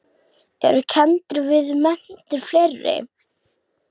Eru kenndir við menntir fleiri.